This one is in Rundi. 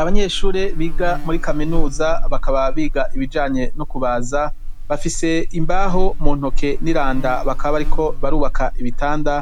abanyeshuri biga muri kaminuza bakaba biga ibijanye no kubaza bafise imbaho mu ntoke n'iranda bakaba bariko barubaka ibitanda